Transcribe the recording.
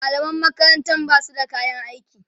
mallaman makaranta Basu da kayan aiki